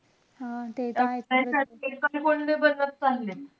त त्याच्यात एकलकोंडे बनत चालले.